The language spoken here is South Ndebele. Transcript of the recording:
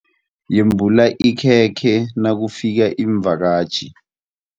Yembula ikhekhe nakufika iimvakatjhi.